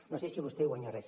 no sé si vostè hi guanya res